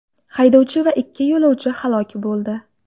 Haydovchi va ikki yo‘lovchi halok bo‘ldi.